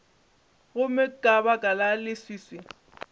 gomme ka baka la leswiswi